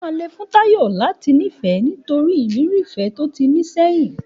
Òmá lẹ fún tàyọ́ làtí nífẹ mọ tòrí ọkọ ìfé tòtí gbà sẹyin.